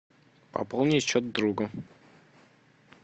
пополнить счет другу